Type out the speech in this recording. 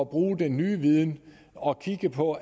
bruge den nye viden og kigge på